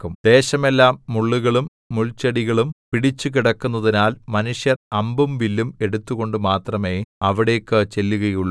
ദേശമെല്ലാം മുള്ളുകളും മുൾച്ചെടികളും പിടിച്ചുകിടക്കുന്നതിനാൽ മനുഷ്യർ അമ്പും വില്ലും എടുത്തുകൊണ്ട് മാത്രമേ അവിടേക്കു ചെല്ലുകയുള്ളു